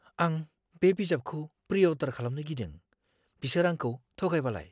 आं बे बिजाबखौ प्रि-अर्डार खालामनो गिदों, बिसोर आंखौ थगायबालाय?